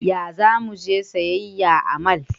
Ya za mu je siyayya a mall?